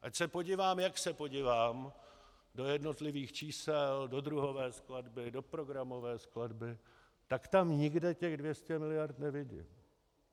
Ať se podívám, jak se podívám do jednotlivých čísel, do druhové skladby, do programové skladby, tak tam nikde těch 200 miliard nevidím.